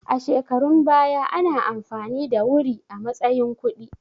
A shekarun baya ana amfani da wuri a matsayin kuɗi